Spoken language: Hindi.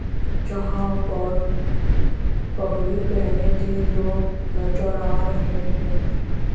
जहां पर पगड़ी पहने तीन लोग नजर आ रहे हैं।